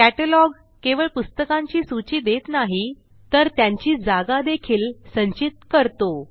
catalogue केवळ पुस्तकांची सूची देत नाही तर त्यांची जागा देखील संचित करतो